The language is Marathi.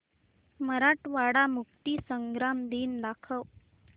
मराठवाडा मुक्तीसंग्राम दिन दाखव